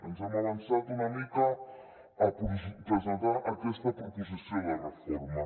ens hem avançat una mica a presentar aquesta proposició de reforma